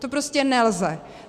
To prostě nelze!